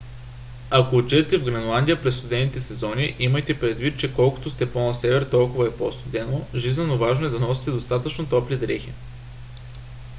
ако отидете в гренландия през студените сезони имайте предвид че колкото сте по - на север толкова е по - студено жизнено важно е да носите достатъчно топли дрехи